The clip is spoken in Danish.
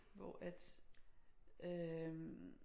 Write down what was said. Hvor at øh